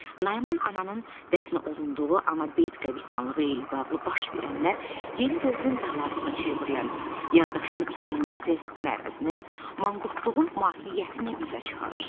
Nayman ananın dəfn olunduğu Ana Beyt qəbristanlığı ilə bağlı baş verənlər yeni dövrün bəlasına çevrilən yaddaşın itirilməsi mərəzini, manqurtluğun mahiyyətini üzə çıxarır.